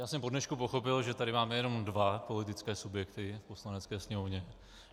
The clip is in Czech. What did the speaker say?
Já jsem po dnešku pochopil, že tady máme jenom dva politické subjekty v Poslanecké sněmovně.